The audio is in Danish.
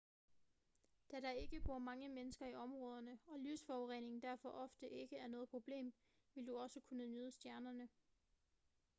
da der ikke bor mange mennesker i områderne og lysforurening derfor ofte ikke er noget problem vil du også kunne nyde stjernerne